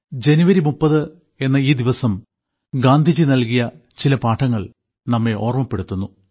ജനുവരി 30 എന്ന ഈ ദിവസം ഗാന്ധിജി നൽകിയ ചില പാഠങ്ങൾ നമ്മെ ഓർമ്മപ്പെടുത്തുന്നു